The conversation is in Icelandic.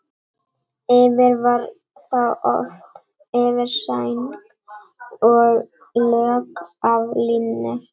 Yfir var þá oft yfirsæng og lök af líni.